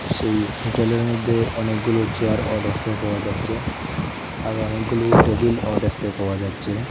সেই হোটেলের মধ্যে অনেকগুলো চেয়ারও দেখতে পাওয়া যাচ্ছে আর অনেকগুলো টেবিলও দেখতে পাওয়া যাচ্ছে।